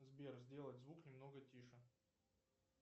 сбер сделать звук немного тише